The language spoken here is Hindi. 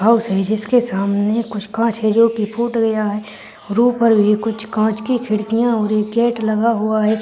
हाउस है जिसके सामने कुछ काँच है जो कि फूट गया है और ऊपर भी कुछ काँच की खिड़किया और एक गेट लगा हुआ है।